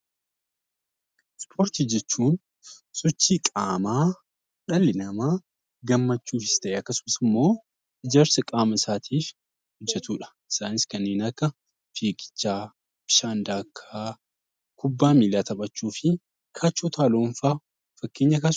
Ispoortii jechuun sochii qaamaa dhalli namaa gammachuufis ta'e akkasumas immoo ijaarsa qaama isaatiif hojjetuu dha. Isaanis kanneen akka fiigichaa, bishaan daakaa, kubbaa miilaa taphachuu fi kaachoo utaaluun faa fakkeenya kaasuu....